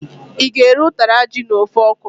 I ga-eri ụtara ji na ofe okwuru?